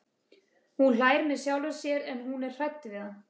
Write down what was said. Hún hlær með sjálfri sér en hún er hrædd við hann.